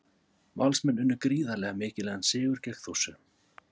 Valsmenn unnu gríðarlega mikilvægan sigur gegn Þórsurum.